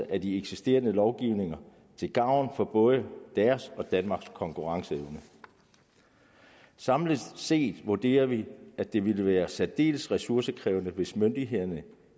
af de eksisterende lovgivninger til gavn for både deres og danmarks konkurrenceevne samlet set vurderer vi at det ville være særdeles ressourcekrævende hvis myndighederne